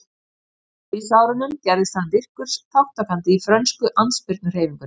Á stríðsárunum gerðist hann virkur þátttakandi í frönsku andspyrnuhreyfingunni.